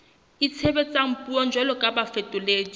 itshebetsang puong jwalo ka bafetoledi